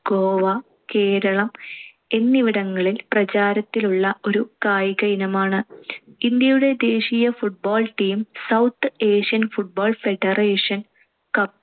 ഗോവ, കേരളം എന്നിവിടങ്ങളിൽ പ്രചാരത്തിലുള്ള ഒരു കായിക ഇനമാണ്‌. ഇന്ത്യയുടെ ദേശീയ football team, south Asian football federation cup